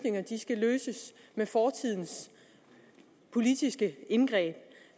med fortidens politiske indgreb